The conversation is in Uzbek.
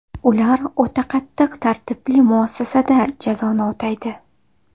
Ular o‘ta qattiq tartibli muassasada jazoni o‘taydi.